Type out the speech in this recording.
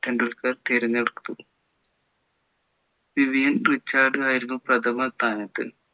ടെണ്ടുൽക്കർ തിരഞ്ഞെടുത്തു Vivian Richard ആയിരുന്നു പ്രഥമ സ്ഥാനത്ത്